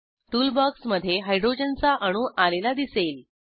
tool बॉक्समधे हायड्रोजनचा अणू आलेला दिसेल